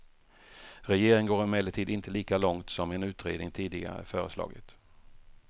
Regeringen går emellertid inte lika långt som en utredning tidigare föreslagit.